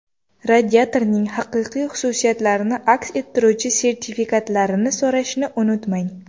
Radiatorning haqiqiy xususiyatlarini aks ettiruvchi sertifikatlarini so‘rashni unutmang.